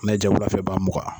N'a y'i ja wulafɛ i b'a muga.